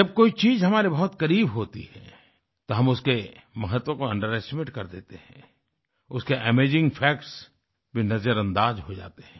जब कोई चीज़ हमारे बहुत करीब होती है तो हम उसके महत्व को अंडरेस्टिमेट कर देते हैं उसके अमेजिंग फैक्ट्स भी नजरअंदाज हो जाते हैं